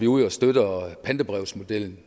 ud og støtter pantebrevsmodellen